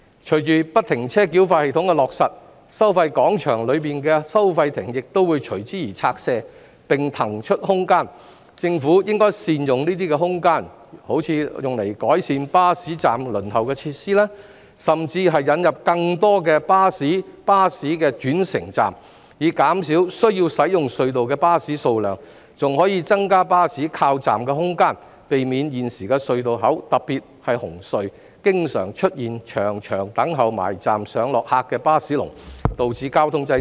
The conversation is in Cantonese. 隨着不停車繳費系統的落實，收費廣場內的收費亭亦會隨之而拆卸，並騰出空間，政府應善用這些空間，如改善巴士站輪候的設施，甚至引入更多的巴士轉乘站，以減少需要使用隧道的巴士數量，還可增加巴士靠站的空間，避免現時隧道口，特別是紅隧，經常出現長長等候駛近巴士站上落客的"巴士龍"，導致交通擠塞。